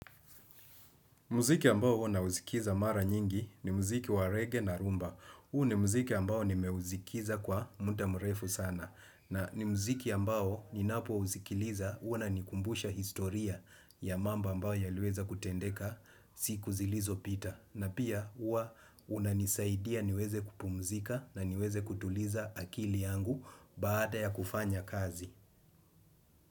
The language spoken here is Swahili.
Muziki ambao huwa nausikiza mara nyingi ni muziki wa rege na rumba. Huu ni muziki ambao nimeuzikiza kwa mda mrefu sana. Na ni muziki ambao ninapouzikiliza huwa inanikumbusha historia ya mambo ambao yaliweza kutendeka siku zilizopita. Na pia huwa unanisaidia niweze kupumzika na niweze kutuliza akili yangu baada ya kufanya kazi.